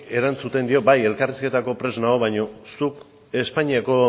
erantzuten dio bai elkarrizketako prest nago baina zuk espainiako